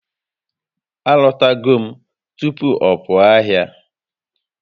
A lọtago m tupu ọ pụọ ahịa